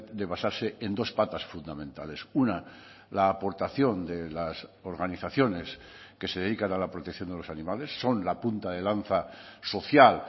de basarse en dos patas fundamentales una la aportación de las organizaciones que se dedican a la protección de los animales son la punta de lanza social